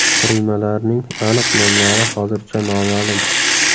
Qurilmalarning aniq nomlari hozircha noma’lum.